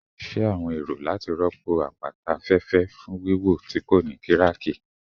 Ṣe awọn ero lati rọpo apata afẹfẹ fun wiwo ti ko ni kiraki?